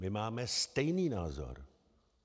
My máme stejný názor.